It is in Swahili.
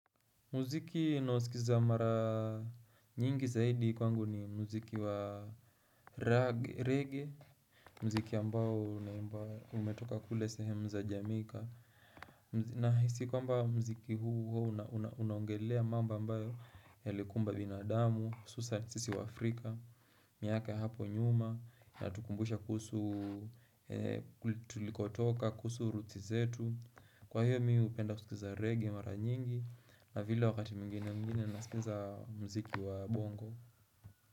Muziki ninaosikiza mara nyingi zaidi kwangu ni muziki wa reggae, muziki ambao umetoka kule sehemu za Jamaica. Nahisi kwamba muziki huu huwa unaongelea mamba ambayo yalikumba binadamu, hususa sisi waAfrika, miaka hapo nyuma, inatukumbusha kuhusu tulikotoka kuhusu ruti zetu. Kwa hiyo mi hupenda kusikiza reggae mara nyingi na vile wakati mwingine mwingine nasikiza muziki wa bongo.